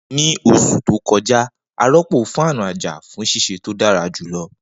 Ni oṣu to kọja, a rọpo fáànù aja fun ṣiṣe to dara julọ.